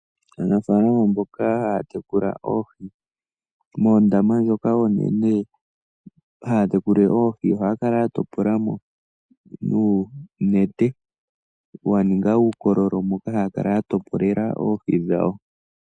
Aanafalama mboka haya tekula oohi moondama oonene ohaya kala yatopolamo nuunete waninga uukololo moka haya kala yatopolela oohi dhawo.